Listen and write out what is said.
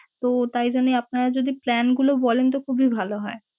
তো তাই জন্যে আপনারা যদি plan গুলো বলেন তো খুবই ভালো হয়।